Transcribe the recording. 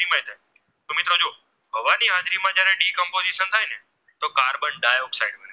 Dioxide